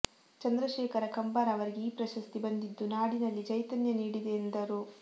ಚಂದ್ರಶೇಖರ ಕಂಬಾರ ಅವರಿಗೆ ಈ ಪ್ರಶಸ್ತಿ ಬಂದಿದ್ದು ನಾಡಿನಲ್ಲಿ ಚೈತನ್ಯನೀಡಿದೆ ಎಂದರು